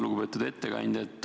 Lugupeetud ettekandja!